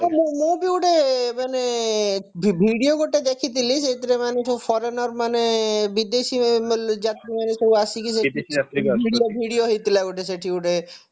ମୁଁ ବି ଗୋଟେ ମାନେ video ଗୋଟେ ଦେଖିଥିଲି ସେଇଥିରେ ମାନେ ସବୁ foreigner ମାନେ ବିଦେଶୀ ମାନେ ଯାତ୍ରୀ ମାନେ ସବୁ ଆସିକି ସେଠି video video ହେଇଥିଲା ଗୋଟେ ସେଠି ଗୁଟେ